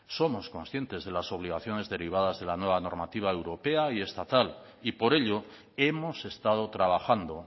somos conscientes de las obligaciones derivadas de la nueva normativa europea y estatal y por ello hemos estado trabajando